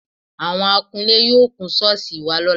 Àwọ̀n akunlé yóò kun ṣọ́ọ̀ṣì wa lọ́la